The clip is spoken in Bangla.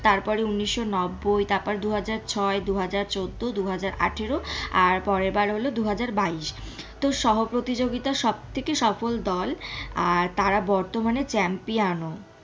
তারপরে উন্নিশ নব্বই তারপর দুহাজার ছয় দুহাজার চৌদ্দ দুহাজার আঠেরো আর পরের বার হলো দুহাজার বাইশ তো সহ প্রতিযোগিতা সব থেকে সফল দল আর তারা বর্তমানে champion ও।